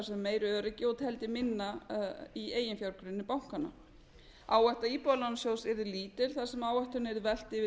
meira öryggi og teldi minna í eiginfjárgrunni bankanna áhætta íbúðalánasjóðs yrði lítil þar sem áhættunni yrði velt yfir